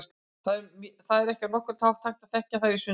Það er ekki á nokkurn hátt hægt að þekkja þær í sundur.